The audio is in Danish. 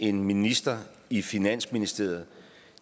en minister i finansministeriet